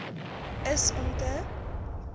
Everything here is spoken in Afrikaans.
is om te